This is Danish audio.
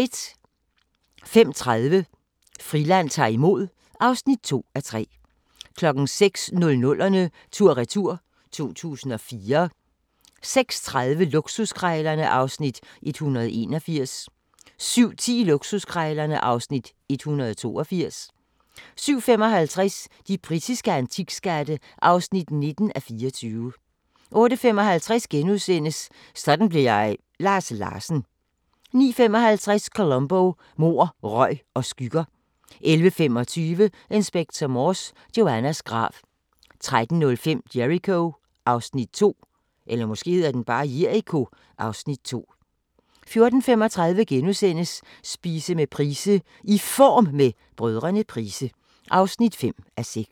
05:30: Friland ta'r imod (2:3) 06:00: 00'erne tur/retur: 2004 06:30: Luksuskrejlerne (Afs. 181) 07:10: Luksuskrejlerne (Afs. 182) 07:55: De britiske antikskatte (19:24) 08:55: Sådan blev jeg – Lars Larsen * 09:55: Columbo: Mord, røg og skygger 11:25: Inspector Morse: Joannas grav 13:05: Jericho (Afs. 2) 14:35: Spise med Price: "I Form med Brdr. Price" (5:6)*